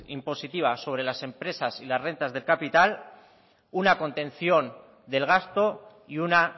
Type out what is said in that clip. impositiva sobre las empresas y las rentas de capital una contención del gasto y una